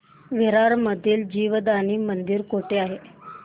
विरार मधील जीवदानी मंदिर कुठे आहे